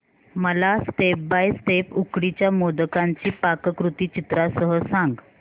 मला step by step उकडीच्या मोदकांची पाककृती चित्रांसह सांग